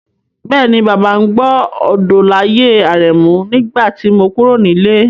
Bẹ́ẹ̀ni, Bàbá ń gbọ́ Odolaye Aremu nígbà tí mo kúrò nílé.